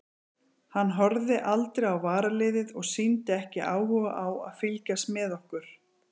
Hann horfði aldrei á varaliðið og sýndi ekki áhuga á að fylgjast með okkur.